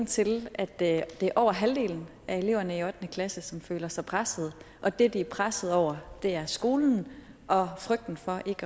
til at det er over halvdelen af eleverne i ottende klasse som føler sig presset og det de er presset over er skolen og frygten for ikke